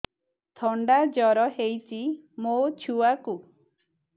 ଥଣ୍ଡା ଜର ହେଇଚି ମୋ ଛୁଆକୁ